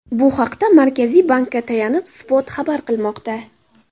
Bu haqda Markaziy bankka tayanib Spot xabar qilmoqda .